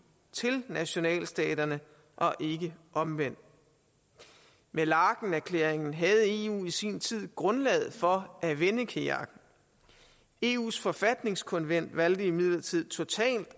til nationalstaterne og ikke omvendt ved laekenerklæringen havde eu i sin tid grundlaget for at vende kajakken eus forfatningskonvent valgte imidlertid totalt